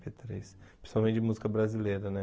eme pê três. Principalmente música brasileira, né?